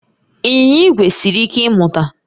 Ịnyịnya igwe siri ike ịmụta